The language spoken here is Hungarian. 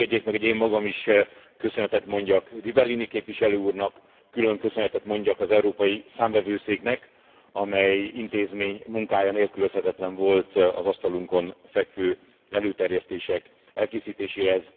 Engedjék meg, hogy én magam is köszönetet mondjak Rivellini képviselő úrnak, külön köszönetet mondjak az Európai Számvevőszéknek, amely intézmény munkája nélkülözhetetlen volt az asztalunkon fekvő előterjesztések elkészítéséhez.